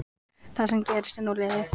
Það sem gerðist er nú liðið.